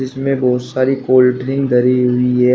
इसमें बहोत सारी कोल्ड ड्रिंक धारी हुई है।